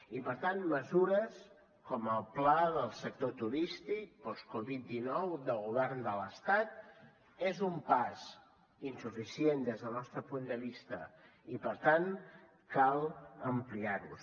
i per tant mesures com el pla del sector turístic post covid dinou del govern de l’estat és un pas insuficient des del nostre punt de vista i per tant cal ampliar los